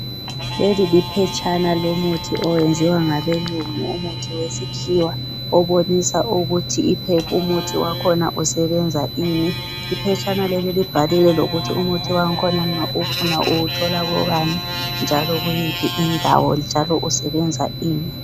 Leli liphetshana lomuthi oyenziwa ngabelungu umuthi wesikhiwa obonisa ukuthi umuthi wakhona usebenza ini iphetshana leli libhalile lokuthi umuthi wakhona nxa uwufuna uwuthola kobani njalo kuyiphi indawo njalo usebenza ini